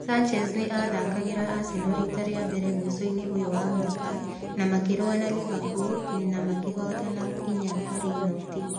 Sanchez nĩ aathakagĩra Arsenal riita rĩa mbere mũico-inĩ ũyũ wa mwaka, na makĩrũa na Liverpool na makĩhootana 4-0.